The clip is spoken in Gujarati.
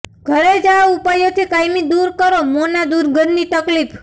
ઘરે જ આ ઉપાયોથી કાયમી દૂર કરો મોંના દુર્ગંધની તકલીફ